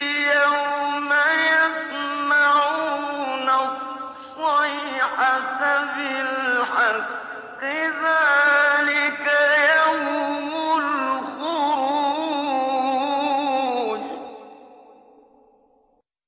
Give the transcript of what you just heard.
يَوْمَ يَسْمَعُونَ الصَّيْحَةَ بِالْحَقِّ ۚ ذَٰلِكَ يَوْمُ الْخُرُوجِ